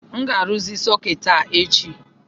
M ga-arụzi sọketi a echi